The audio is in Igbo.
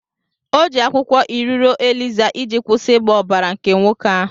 O ji akwụkwọ iriro eliza iji kwụsị ịgba ọbara nke nwoke ahụ.